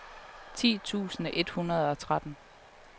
ti tusind et hundrede og tretten